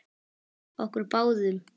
Okkur báðum.